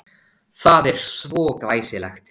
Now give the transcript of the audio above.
Það er svo glæsilegt.